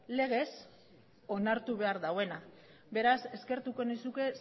legez onartu behar duena beraz eskertuko nizuke